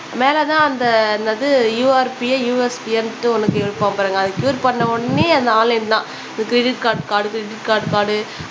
மேல தான் அந்த என்னது யுஆர்பியோ யுஎஸ்பியோன்ட்டு ஒண்ணு கேக்கும் பாருங்க அது க்யூர் பண்ண உடனே அந்த ஆன்லைன் தான் இது க்ரிடிட் கார்ட் டிபிட் கார்டு